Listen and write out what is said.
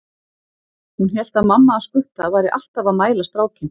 Hún hélt að mamma hans Gutta væri alltaf að mæla strákinn.